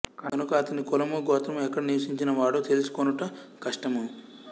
కనుక అతని కులము గోత్రము ఎక్కడ నివసించిన వాడో తెలుసుకొనుట కష్టము